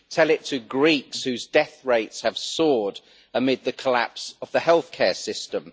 Tell it to Greeks, whose death rates have soared amid the collapse of the healthcare system!